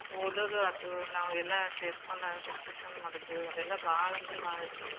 ಓದೋದು ಆತು. ನಾವೆಲ್ಲಾ ಸೇರ್ಕೊಂಡ discussion ಮಾಡೋದು ಅದೆಲ್ಲಾ ಭಾಳ ಅಂದ್ರ ಭಾಳ್ ಇದ್ ಮಾಡೇವಿ ನಾವ್.